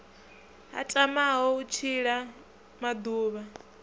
a tamaho u tshila maḓuvha